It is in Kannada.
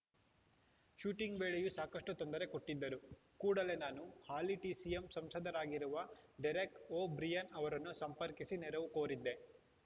ಶೂಟಿಂಗ್‌ ವೇಳೆಯೂ ಸಾಕಷ್ಟುತೊಂದರೆ ಕೊಟ್ಟಿದ್ದರು ಕೂಡಲೇ ನಾನು ಹಾಲಿ ಟಿಎಂಸಿ ಸಂಸದರಾಗಿರುವ ಡೆರೆಕ್‌ ಒ ಬ್ರಿಯಾನ್‌ ಅವರನ್ನು ಸಂಪರ್ಕಿಸಿ ನೆರವು ಕೋರಿದ್ದೆ